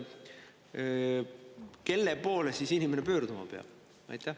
Kelle poole siis inimene pöörduma peab?